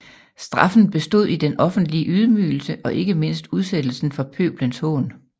Straffen bestod i den offentlige ydmygelse og ikke mindst udsættelsen for pøbelens hån